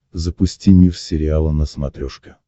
запусти мир сериала на смотрешке